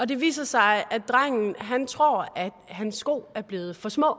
det viser sig at drengen tror at han sko er blevet for små